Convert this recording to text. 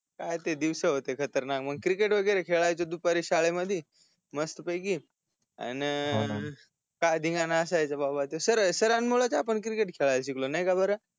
काय ते दिवस होते खतरनाक मग ते क्रिकेट वगेरे खेळायचो दुपारी शाळे मध्ये मस्त पैकी अन काय धीन्गाला असायचा बापा ते सर सरांमुळे च आपण क्रिकेट खेळायला शिकलो नाही का बर